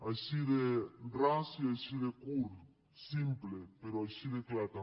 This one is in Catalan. així de ras i així de curt simple però així de clar també